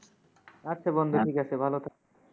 আচ্ছা বন্ধু ঠিক আছে, ভালো থাকো।